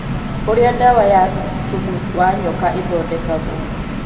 ũrĩa dawa ya thumu wa nyoka ĩthondekagwo